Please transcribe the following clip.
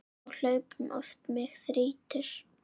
Á hlaupum oft mig þrýtur.